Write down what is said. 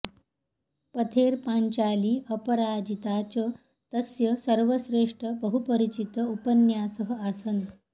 पथेर पाँचाली अपराजिता च तस्य सर्वश्रेष्ठ बहुपरिचित उपन्यासः आसन्